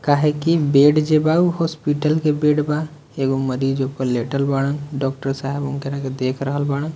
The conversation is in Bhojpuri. काहे की बेड जे बा उ हॉस्पिटल के बेड बा एगो मरीज ऊपर लेटल बाड़ा डॉक्टर साहब उनकरा के देख रहल बाड़ा।